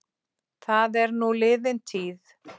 Það er nú liðin tíð.